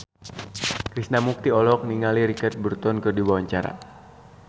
Krishna Mukti olohok ningali Richard Burton keur diwawancara